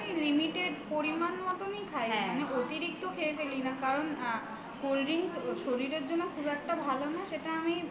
মানে আমি limited পরিমান মতনই খাইঅতিরিক্ত খেয়ে ফেলি না কারণ আ cold drinks ওর শরীরের জন্য খুব একটা ভালো না সেটা আমি